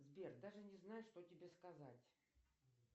сбер даже не знаю что тебе сказать